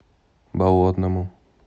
болотному